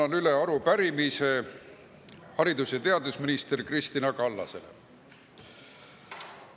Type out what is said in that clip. Annan üle arupärimise haridus‑ ja teadusminister Kristina Kallasele.